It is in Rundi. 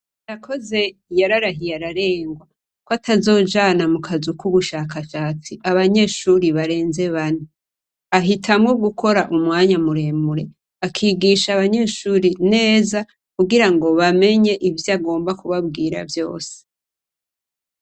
Yakoze yararahiye ararengwa ko atazojana mu kazu k'ubushakashatsi abanyeshuri barenze bani ahitamwo gukora umwanya amuremure akigisha abanyeshuri neza kugira ngo bamenye ivyo agomba kubabwira vyose.